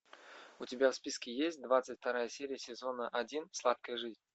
у тебя в списке есть двадцать вторая серия сезона один сладкая жизнь